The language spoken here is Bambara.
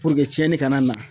puruke cɛni kana na